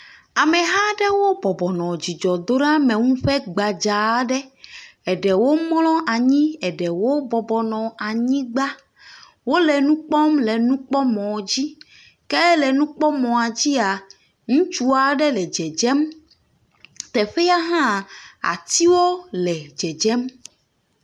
Ameha aɖewo bɔbɔ nɔ dzidzɔdoɖeameŋu ƒe gbadzaa aɖe. eɖewo mlɔ anyi, eɖewo bɔbɔ nɔ anyigba. Wole nu kpɔm le nukpɔmɔ dzi. Ke le nukpɔmɔa dzia, ŋutstsu aɖe le dzedzem teƒea hã, atiwo le dzedzem.